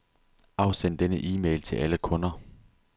Afsend denne e-mail til alle kunder.